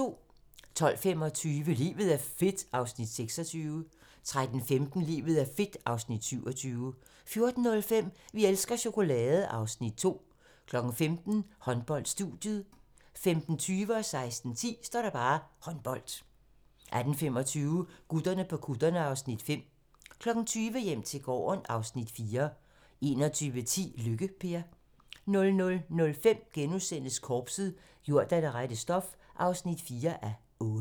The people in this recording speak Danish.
12:25: Livet er fedt (Afs. 26) 13:15: Livet er fedt (Afs. 27) 14:05: Vi elsker chokolade! (Afs. 2) 15:00: Håndbold: Studiet 15:20: Håndbold 16:10: Håndbold 18:25: Gutterne på kutterne (Afs. 5) 20:00: Hjem til gården (Afs. 4) 21:10: Lykke-Per 00:05: Korpset - gjort af det rette stof (4:8)*